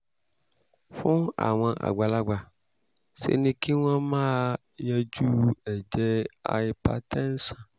fún àwọn àgbàlagbà ṣe ni kí wọ́n máa yanjú ẹ̀jẹ̀ hypertension